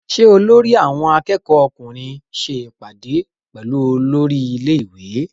Ṣé olórí àwọn akẹ́kọ̀ọ́ ọkùnrin ṣe ìpàdé pẹ̀lú olórí ilé- ìwé?